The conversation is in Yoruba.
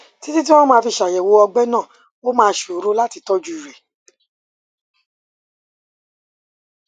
títí tí wọn á fi ṣàyẹwò ọgbẹ náà ó máa ṣòro láti tọjú rẹ